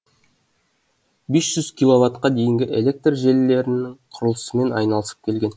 бес жүз киловатт қа дейінгі электр желілерінің құрылысымен айналысып келген